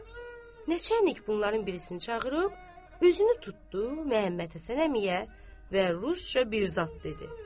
Neçə enlik bunlardan birisini çağırıb, üzünü tutdu Məhəmmədhəsən əmiyə və rusca bir zad dedi.